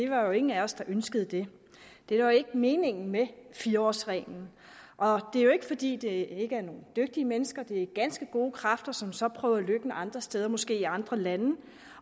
var jo ingen af os der ønskede det det var jo ikke meningen med fire årsreglen og det er jo ikke fordi det ikke er nogle dygtige mennesker det er ganske gode kræfter som så prøver lykken andre steder måske i andre lande